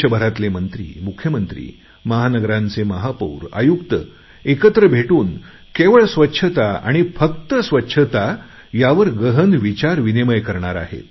देशभरातील मंत्री मुख्यमंत्री महानगरांचे महापौर आयुक्त एकत्र भेटून केवळ स्वच्छता आणि फक्त स्वच्छता यावर गहन विचारविनिमय करणार आहेत